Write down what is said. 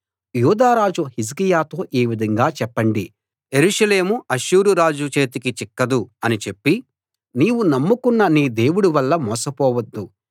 యూదారాజు హిజ్కియాతో ఈ విధంగా చెప్పండి యెరూషలేము అష్షూరురాజు చేతికి చిక్కదు అని చెప్పి నీవు నమ్ముకొన్న నీ దేవుడి వల్ల మోసపోవద్దు